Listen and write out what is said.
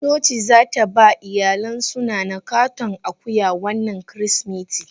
Coci zataba iyalinsu nana katon akuya wannan kirismetin.